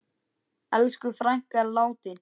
Elsku frænka er látin.